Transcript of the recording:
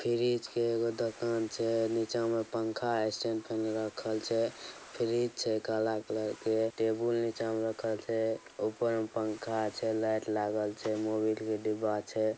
फ्रीज़ के एगो दुकान छे नीचा में पंखा अ स्टैंड फैन राखल छे फ्रीज़ छे काले कलर का टेबुल नीचा में रखेल छेऊपर में पंखा छे लाइट लागेल छे मोबिल का डिब्बा छे।